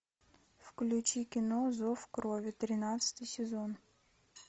включи кино зов крови тринадцатый сезон